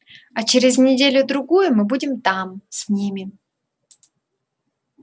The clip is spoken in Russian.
а через неделю-другую мы будем там с ними